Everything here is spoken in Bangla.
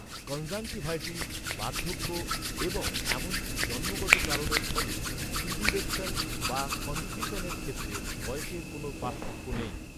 কনজাংটিভাইটিস, বার্ধক্য এবং এমনকি জন্মগত কারণের ফলে প্রিডিলেকশন বা কনক্রিশনের ক্ষেত্রে, বয়সের কোনও পার্থক্য নেই।